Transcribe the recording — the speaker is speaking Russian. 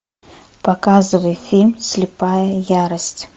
показывай фильм слепая ярость